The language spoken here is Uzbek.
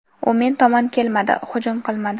U men tomon kelmadi, hujum qilmadi.